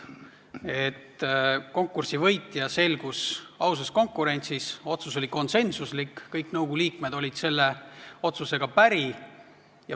Konkursi võitja selgus ausas konkurentsis, otsus oli konsensuslik, kõik nõukogu liikmed olid selle otsusega päri.